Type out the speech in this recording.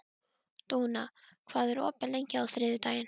Dúna, hvað er opið lengi á þriðjudaginn?